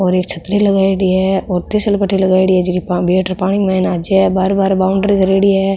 और एक छतरी लगायेड़ी है और तिसल पटटी लगायेड़ी है जकी बैठ र पानी के माय आ जावे बाहेर बाहेर बॉउंड्री करेड़ी है।